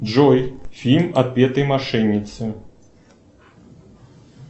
джой фильм отпетые мошенницы